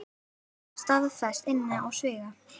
Er það staðfest innan sviga?